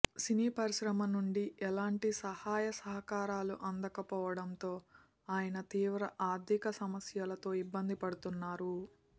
సినీ పరిశ్రమ నుండి ఎలాంటి సహాయ సహకారాలు అందకపోవడంతో ఆయన తీవ్ర ఆర్థిక సమస్యతో ఇబ్బంది పడుతున్నారు